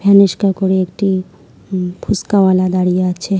রিস্কা করে একটি উম ফুসকাওয়ালা দাঁড়িয়ে আছে।